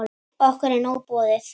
Okkur er nóg boðið